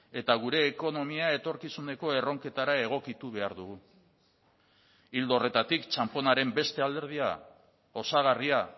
eta gure ekonomia etorkizuneko erronketara egokitu behar dugu ildo horretatik txanponaren beste alderdia osagarria